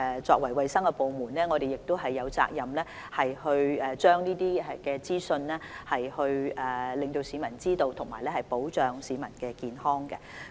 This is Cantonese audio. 作為衞生部門，我們有責任讓市民知悉這些資訊，以及保障市民的健康。